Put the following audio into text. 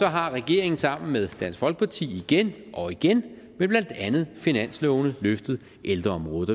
har regeringen sammen med dansk folkeparti igen og igen med blandt andet finanslovene løftet ældreområdet